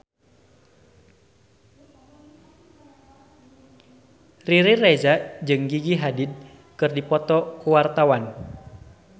Riri Reza jeung Gigi Hadid keur dipoto ku wartawan